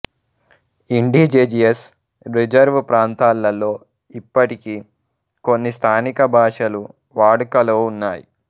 indigenous reserve ప్రాంతాలలో ఇప్పటికీ కొన్ని స్థానిక భాషలు వాడుకలో ఉన్నాయి